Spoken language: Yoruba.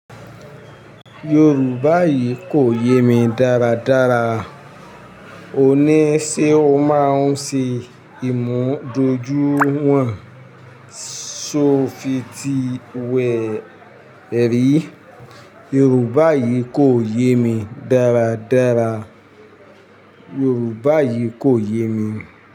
Yorùbá yìí kò yé mi dáradára. Òní ṣe o máa ń ṣe ìmúdójúìwọ̀n, ṣó fi ti wẹ̀ rí? Yorùbá yìí kò yé mi dáradára. Yorùbá yìí kò yé mi.